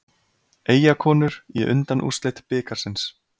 Eyjakonur í undanúrslit bikarsins